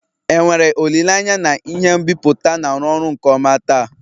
enwere olile anya na ihe nbipute na-arụ ọrụ nke ọma taa?